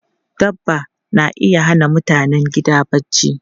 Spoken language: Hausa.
Dabba na iya hana mutanen gida barci.